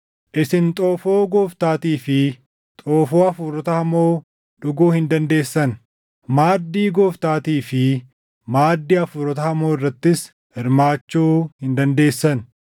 Isin xoofoo Gooftaatii fi xoofoo hafuurota hamoo dhuguu hin dandeessan; maaddii Gooftaatii fi maaddii hafuurota hamoo irrattis hirmaachuu hin dandeessan.